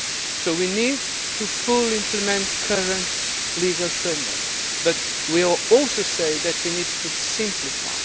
So we need to fully implement current legal frameworks but we also say that we need to simplify.